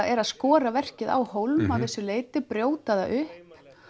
er að skora verkið á hólm að vissu leyti brjóta það upp